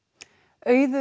Auður